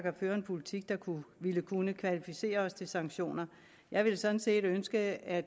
at føre en politik der ville kunne kvalificere os til sanktioner jeg ville sådan set ønske at